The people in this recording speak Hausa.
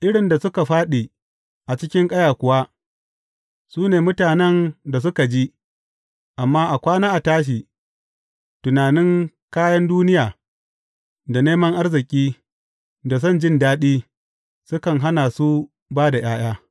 Irin da suka fāɗi a cikin ƙaya kuwa, su ne mutanen da suka ji, amma a kwana a tashi, tunanin kayan duniya, da neman arziki, da son jin daɗi, sukan hana su ba da ’ya’ya.